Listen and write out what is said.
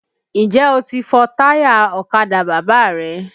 Ǹjẹ́ o ti fọ táyà ọ̀kadà Bàbá rẹ?